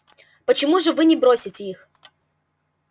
почему же вы не бросите их